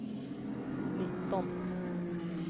nitton